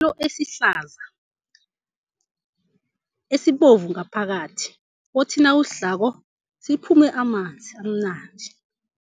Sithelo esihlaza esibovu ngaphakathi, othi nawusdlako siphume amanzi amnandi.